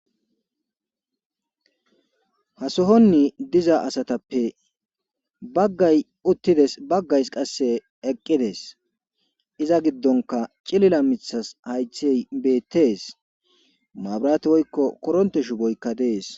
hasohonni diza asatappe baggay uttides baggays qasse eqqides iza giddonka cilila mithas haythey beettees maabirati woykko koronte shu boykka dees